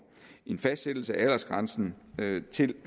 en fastsættelse af aldersgrænsen til